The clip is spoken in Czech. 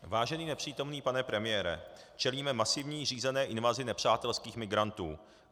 Vážený nepřítomný pane premiére, čelíme masivní řízené invazi nepřátelských migrantů.